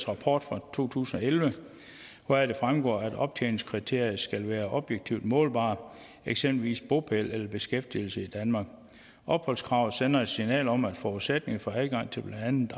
rapport fra to tusind og elleve hvoraf det fremgår at optjeningskriterier skal være objektivt målbare eksempelvis bopæl eller beskæftigelse i danmark opholdskravet sender et signal om at forudsætningen for adgang til blandt andet